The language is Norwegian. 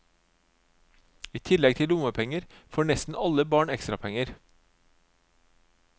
I tillegg til lommepenger, får nesten alle barn ekstrapenger.